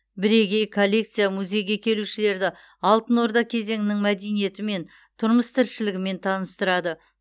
бірегей коллекция музейге келушілерді алтын орда кезеңінің мәдениетімен тұрмыс тіршілігімен таныстырады